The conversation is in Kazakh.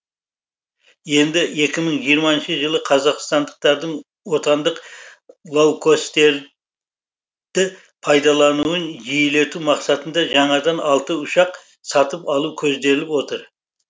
енді екі мың жиырмасыншы жылы қазақстандықтардың отандық лоукостерді пайдалануын жиілету мақсатында жаңадан алты ұшақ сатып алу көзделіп отыр